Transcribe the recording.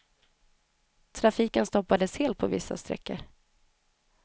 Trafiken stoppades helt på vissa sträckor.